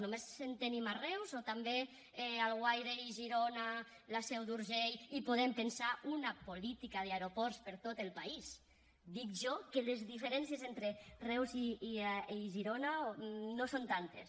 només en tenim a reus o també a alguaire girona i la seu d’urgell i podem pensar una política d’aeroports per a tot el país dic jo que les diferències entre reus i girona no són tantes